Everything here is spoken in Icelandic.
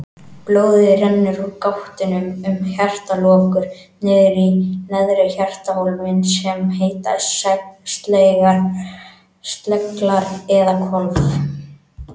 Blóðið rennur úr gáttunum um hjartalokur niður í neðri hjartahólfin sem heita sleglar eða hvolf.